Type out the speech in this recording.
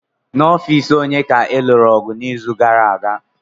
N'ọfịs onye ka ha lụrụ ọgụ n'izu gara aga?